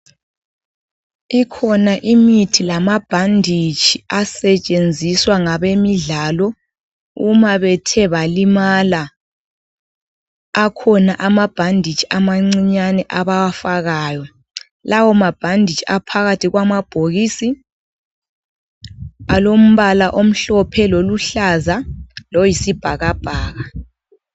Ikhona imithi lamabhanditshi asetshenziswa ngabemidlalo uma bethe balimala. Akhona amabhanditshi amancinyane abawasebenzisa, nxa bethe valimala. Lawomabhanditshi aphakathi kwamabhokisi. Alombala omhlophe, loluhlaza, loyisibhakabhaka.